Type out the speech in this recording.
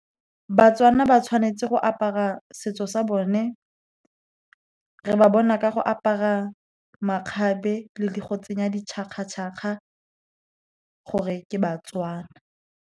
BaTswana ba tshwanetse go apara setso sa bone. Re ba bona ka go apara makgabe le go tsenya di tšhakga-tšhakga, gore ke baTswana.